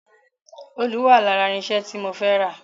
Òòlù wà lára irinṣẹ́ tí mo fẹ́ rà